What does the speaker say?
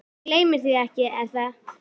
Þú gleymir því ekki, er það?